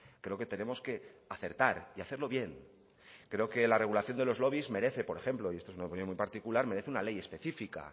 creo que tenemos que acertar y hacerlo bien creo que la regulación de los lobbies merece por ejemplo y esto es una opinión muy particular merece una ley específica